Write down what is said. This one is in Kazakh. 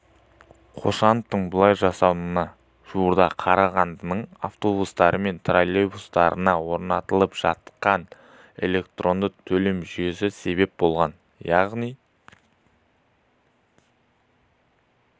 қошановтың бұлай жасауына жуырда қарағандының автобустары мен троллейбустарына орнатылып жатқан электронды төлем жүйесі себеп болған яғни